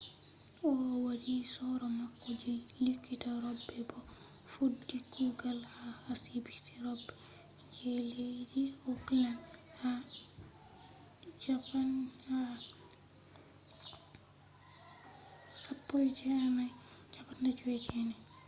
o wadi soro mako je likita robe bo o fuddi kugal ha asibiti robe je leddi auckland ha 1959